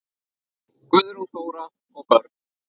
Guðrún Þóra og börn.